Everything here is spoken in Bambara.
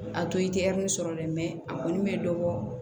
A to i tɛ sɔrɔ dɛ a kɔni bɛ dɔ bɔ